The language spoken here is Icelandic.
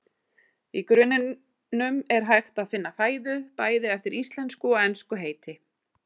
Í grunninum er hægt að finna fæðu, bæði eftir íslensku og ensku heiti.